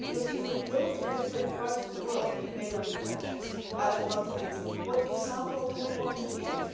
If we go to different parts of the world, be it neighbourhood countries or other continents, what example do we want to set?